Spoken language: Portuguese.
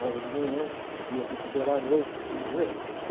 a aula de manhã, ia recuperar a noite, você entendeu?